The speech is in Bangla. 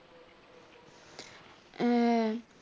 হ্যাঁ